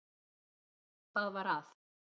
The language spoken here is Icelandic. Hvað var að?